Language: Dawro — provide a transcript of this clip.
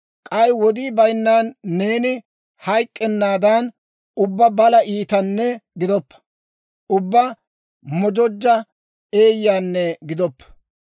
K'ay wodii bayinnan neeni hayk'k'ennaadan, ubbaa balaa iitanne gidoppa; ubbaa mojojja eeyyanne gidoppa.